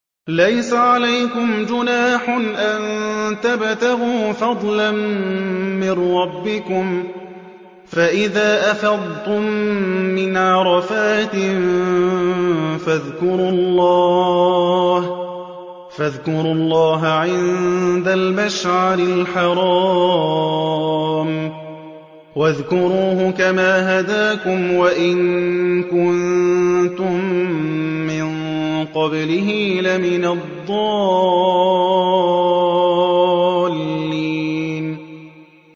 لَيْسَ عَلَيْكُمْ جُنَاحٌ أَن تَبْتَغُوا فَضْلًا مِّن رَّبِّكُمْ ۚ فَإِذَا أَفَضْتُم مِّنْ عَرَفَاتٍ فَاذْكُرُوا اللَّهَ عِندَ الْمَشْعَرِ الْحَرَامِ ۖ وَاذْكُرُوهُ كَمَا هَدَاكُمْ وَإِن كُنتُم مِّن قَبْلِهِ لَمِنَ الضَّالِّينَ